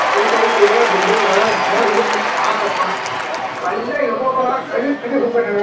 white ಐತೆ building ನೋಡ್ ಬಿಟ್ರೆ ಸಾಕಪ್ಪ ಅಲ್ಲೇ ಇರ್ಬೇಕೇನೋ